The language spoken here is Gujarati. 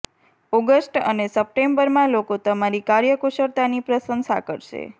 ઓગસ્ટ અને સપ્ટેમ્બરમાં લોકો તમારી કાર્ય કુશળતાની પ્રશંસા કરશે